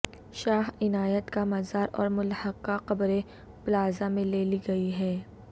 شاہ عنایت کا مزار اور ملحقہ قبریں پلازہ میں لے لی گئی ہیں